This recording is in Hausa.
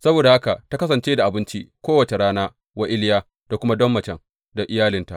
Saboda haka aka kasance da abinci kowace rana wa Iliya da kuma don macen da iyalinta.